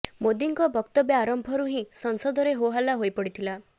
ମୋଦିଙ୍କ ବକ୍ତବ୍ୟ ଆରମ୍ଭରୁ ହିଁ ସଂସଦରେ ହୋ ହଲ୍ଲା ହୋଇ ପଡ଼ିଥିଲା